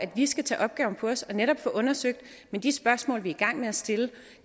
vi skal tage opgaven på os og netop få det undersøgt men de spørgsmål vi er i gang med at stille